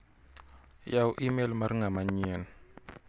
Yaw imel mar ng'ama nyien .